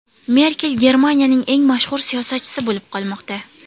Merkel Germaniyaning eng mashhur siyosatchisi bo‘lib qolmoqda.